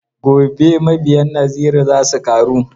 Gobe mabiyan Naziru za su ƙaru.